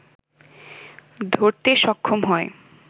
ধরতে সক্ষম হয়